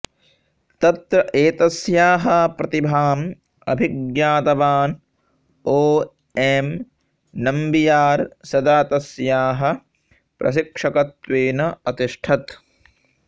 तत्र एतस्याः प्रतिभाम् अभिज्ञातवान् ओ एम् नम्बियार् सदा तस्याः प्रशिक्षकत्वेन अतिष्ठत्